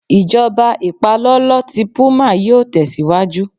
Ijọba ipalọlọ ti puma yíò tẹsiwaju